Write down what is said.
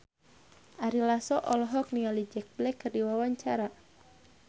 Ari Lasso olohok ningali Jack Black keur diwawancara